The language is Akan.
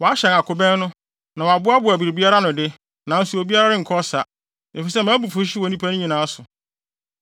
“ ‘Wɔahyɛn akobɛn no, na wɔboaboa biribiara ano de, nanso obiara renkɔ ɔsa, efisɛ mʼabufuwhyew wɔ nnipakuw no nyinaa so.